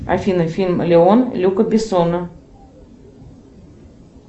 афина фильм леон люка бессона